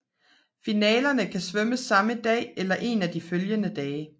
Finalerne kan svømmes samme dag eller en af de følgende dage